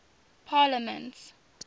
parliaments